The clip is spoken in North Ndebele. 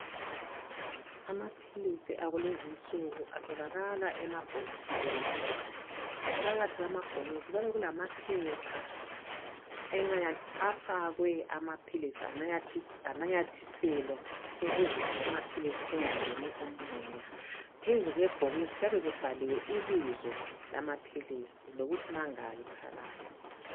Amaphilisi akulezinsuku atholakala emabhokisini phakathi emabhokisini kuyabe kulamaphepha afakwe amaphilisi ananyathiselwa ukuze amaphilisi engangeni umoya. Phezu kwebhokisi kuyabe kubhalwe ibizo lamaphilisi lokuthi mangaki phakathi.